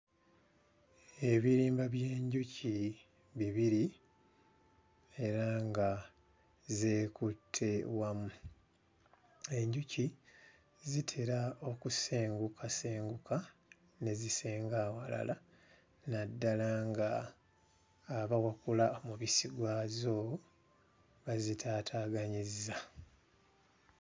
Ebirimba by'enjuki bibiri era nga zeekutte wamu. Enjuki zitera okusengukasenguka ne zisenga awalala naddala nga abawakula omubisi gwazo bazitaataaganyizza.